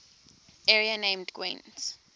area named gwent